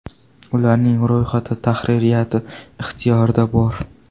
Ularning ro‘yxati tahririyati ixtiyorida bor.